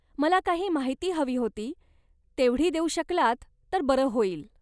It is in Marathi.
मला काही माहिती हवी होती, तेवढी देऊ शकलात तर बरं होईल.